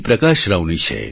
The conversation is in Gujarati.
પ્રકાશ રાવની છે